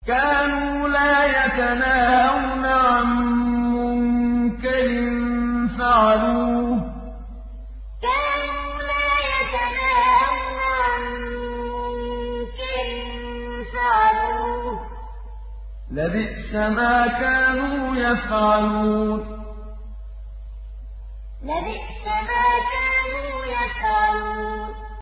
كَانُوا لَا يَتَنَاهَوْنَ عَن مُّنكَرٍ فَعَلُوهُ ۚ لَبِئْسَ مَا كَانُوا يَفْعَلُونَ كَانُوا لَا يَتَنَاهَوْنَ عَن مُّنكَرٍ فَعَلُوهُ ۚ لَبِئْسَ مَا كَانُوا يَفْعَلُونَ